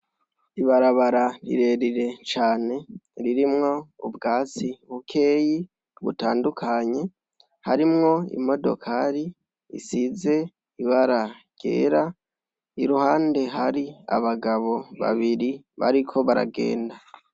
Ibarabara rirerire cane ririmwo ubwatsi bukeyi butandukanye harimwo imodokari isize ibara ryera ,iruhande hari abagabo babiri bariko baragenda.